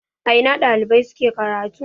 A ina ɗalibai suke karatu?